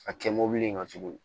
A kɛ mɔbili in ka jugu